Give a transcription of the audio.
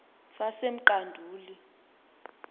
sasemqanduli